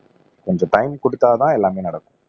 கொஞ்சம் டைம் கொடுத்தாதான் எல்லாமே நடக்கும்